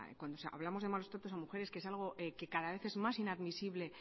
cuando hablamos de malos tratos a mujeres que es algo que cada vez es más inadmisible